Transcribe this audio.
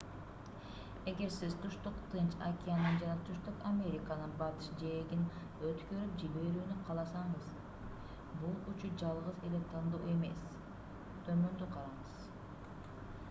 эгер сиз түштүк тынч океанын жана түштүк американын батыш жээгин өткөрүп жиберүүнү кааласаңыз бул учуу жалгыз эле тандоо эмес. төмөндү караңыз